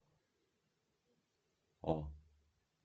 о